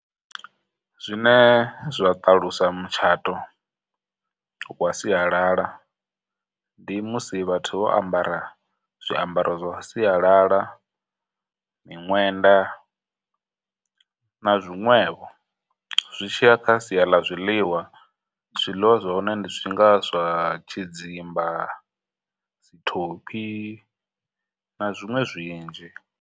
Zwine zwa ṱalusa mutshato wa sialala ndi musi vhathu vho ambara zwiambaro zwa sialala, miṅwenda, na zwiṅwevho. Zwi tshi ya kha sia ḽa zwiḽiwa, zwiliwa zwa hone ndi zwi nga zwa tshidzimba, dzithophi, na zwiṅwe zwinzhi.